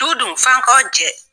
Du dun f'an kaw jɛ.